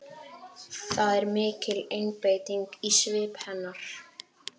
Það er mikil einbeiting í svip hennar.